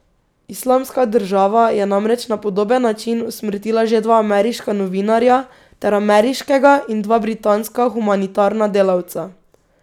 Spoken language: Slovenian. Islamska država je namreč na podoben način usmrtila že dva ameriška novinarja ter ameriškega in dva britanska humanitarna delavca.